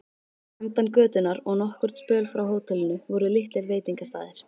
Handan götunnar og nokkurn spöl frá hótelinu voru litlir veitingastaðir.